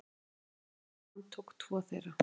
Lögregla handtók tvo þeirra.